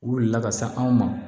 U wulila ka se anw ma